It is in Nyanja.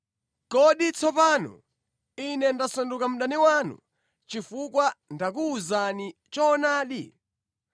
Kodi tsopano ine ndasanduka mdani wanu chifukwa ndakuwuzani choonadi?